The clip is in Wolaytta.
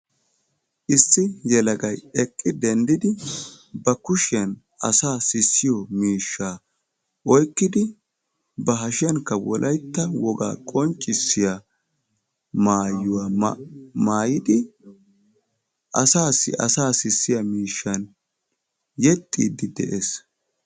Issi yelagayi eqqi denddidi ba kushiyan asaa sissiyo miishshaa oyqqidi ba hashiyankka wolaytta wogaa qonccissiya maayuwa maayidi asaassi asaa sissiya miishshan yexxiiddi de'es.